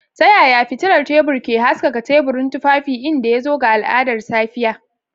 Ta yaya fitilar tebur ke haskaka teburin tufafi idan ya zo ga al'adar safiya?